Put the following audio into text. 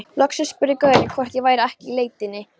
Loksins spurði gaurinn hvort ég væri ekki í leitinni.